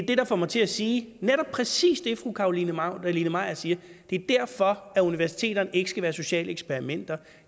det der får mig til at sige præcis det fru carolina magdalene maier siger det er derfor at universiteterne ikke skal være sociale eksperimenter